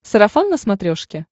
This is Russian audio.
сарафан на смотрешке